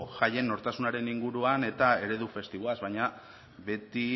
jaien nortasunaren inguruan eta eredu festiboaz baina beti